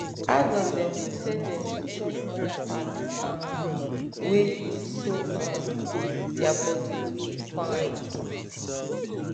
adult dem dey tell them to chop more fat um wen good so um their body go de fine